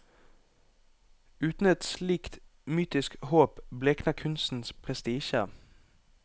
Uten et slikt mytisk håp blekner kunstens prestisje.